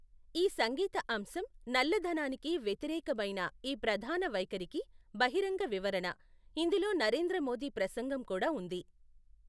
ఈ సంగీత అంశం నల్లధనానికి వ్యతిరేకమైన ఈ ప్రధాన వైఖరికి బహిరంగ వివరణ, ఇందులో నరేంద్ర మోదీ ప్రసంగం కూడా ఉంది.